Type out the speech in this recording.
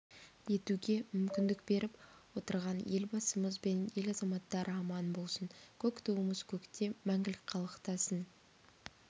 етуге мүмкіндік беріп отырған елбасымыз бен ел азаматтары аман болсын көк туымыз көкте мәңгілік қалықтасын